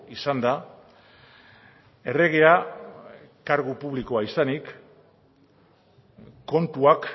izanda erregea kargu publikoa izanik kontuak